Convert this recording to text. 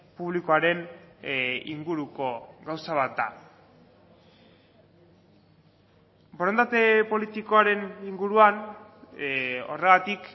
publikoaren inguruko gauza bat da borondate politikoaren inguruan horregatik